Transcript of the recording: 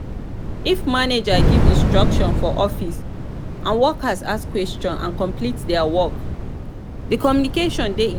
if manager give instructions for office and workers ask questions and complete their work di communication de effective